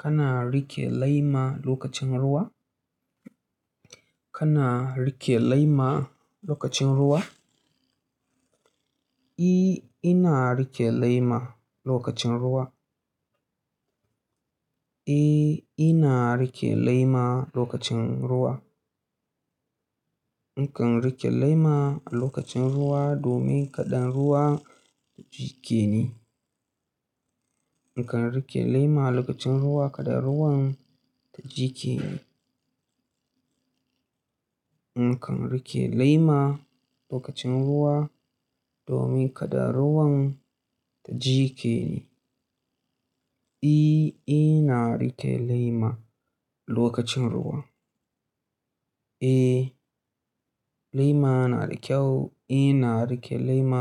Kana rike lema lokacin ruwa? Kana rike lema lokacin ruwa? E, ina rike lema lokacin ruwa. Eh, ina rike lema lokacin ruwa. Nakan rike lema a lokacin ruwa domin kaɗa ruwa jiƙe ni. Nakan rike lema a lokacin ruwa kaɗa ruwan ya jiƙe ni. Nakan rike lema lokacin ruwa domin kaɗan ruwan ta jiƙe ni. E, ina rike lema lokacin ruwa. Eh, lema na da kyau. E, ina rike lema